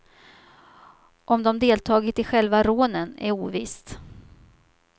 Om de deltagit i själva rånen är ovisst.